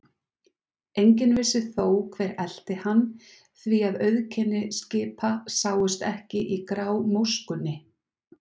Enginn vissi þó, hver elti hvern, því að auðkenni skipa sáust ekki í grámóskunni.